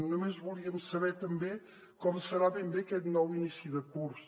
només volíem saber també com serà ben bé aquest nou inici de curs